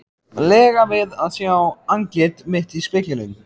lega við að sjá andlit mitt í speglinum.